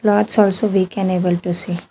Rods also we can able to see.